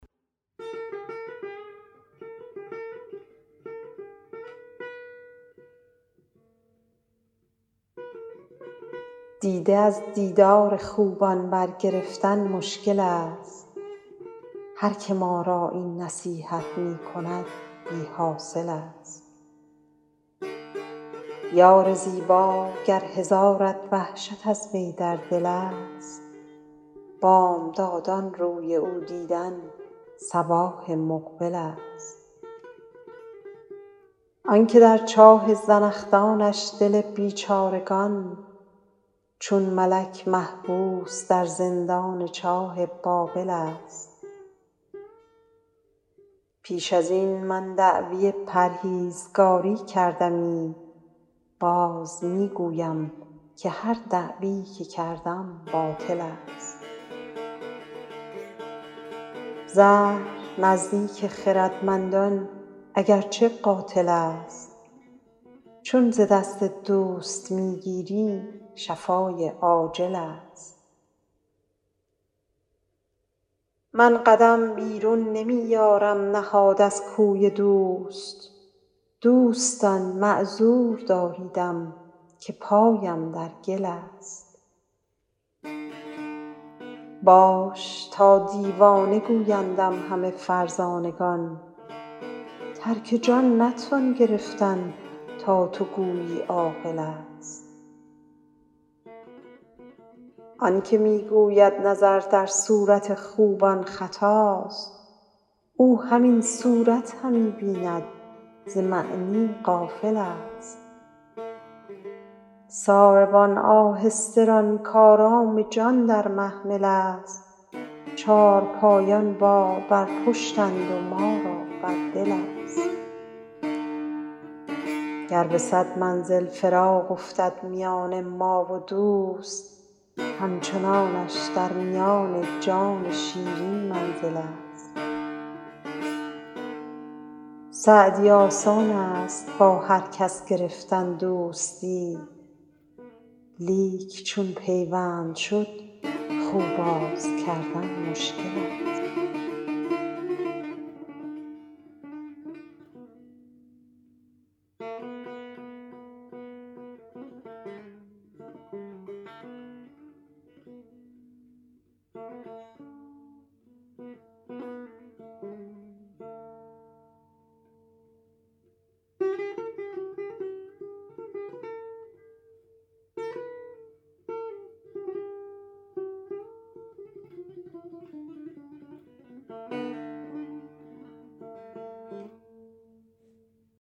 دیده از دیدار خوبان برگرفتن مشکل ست هر که ما را این نصیحت می کند بی حاصل ست یار زیبا گر هزارت وحشت از وی در دل ست بامدادان روی او دیدن صباح مقبل ست آن که در چاه زنخدانش دل بیچارگان چون ملک محبوس در زندان چاه بابل ست پیش از این من دعوی پرهیزگاری کردمی باز می گویم که هر دعوی که کردم باطل ست زهر نزدیک خردمندان اگر چه قاتل ست چون ز دست دوست می گیری شفای عاجل ست من قدم بیرون نمی یارم نهاد از کوی دوست دوستان معذور داریدم که پایم در گل ست باش تا دیوانه گویندم همه فرزانگان ترک جان نتوان گرفتن تا تو گویی عاقل ست آن که می گوید نظر در صورت خوبان خطاست او همین صورت همی بیند ز معنی غافل ست ساربان آهسته ران کآرام جان در محمل ست چارپایان بار بر پشتند و ما را بر دل ست گر به صد منزل فراق افتد میان ما و دوست همچنانش در میان جان شیرین منزل ست سعدی آسان ست با هر کس گرفتن دوستی لیک چون پیوند شد خو باز کردن مشکل ست